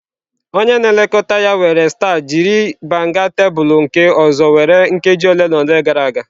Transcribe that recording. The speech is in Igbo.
Onye na-elekọta ya were starch jiri banga tebụl nke ọzọ were nkeji ole na ole gara aga.